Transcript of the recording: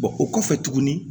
o kɔfɛ tuguni